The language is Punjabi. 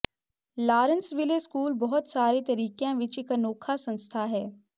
ਲਾਰੇਂਸਵਿੱਲੇ ਸਕੂਲ ਬਹੁਤ ਸਾਰੇ ਤਰੀਕਿਆਂ ਵਿਚ ਇਕ ਅਨੌਖਾ ਸੰਸਥਾ ਹੈ